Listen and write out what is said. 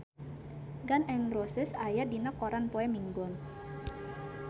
Gun N Roses aya dina koran poe Minggon